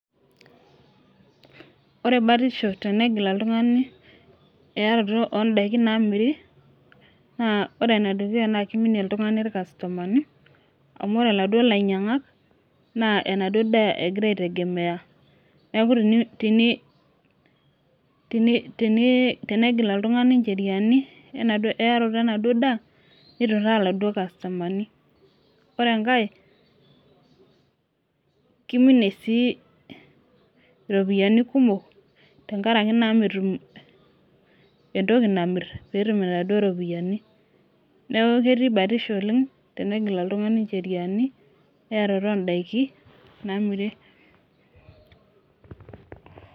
Ore batisho tenegil oltungani eyaato oo daikin naamiri. ore ene dukuya kiminie oltungani ilkastomani. amubore iladuoo lainyianhak. naa enaduoo daa egira aitegemea. neeku tenigil oltungani nvheriani eyarato enaduoo daa nitutaa iladuoo kastomani. ore enkae, kiminie sii iropiyiani kumok tenkaraki naa metum entoki namir tenegil inaduoo sheriani. neeku ketii batisho oleng, tenegil oltungani nvheriani eyarato oodaiki. naamiri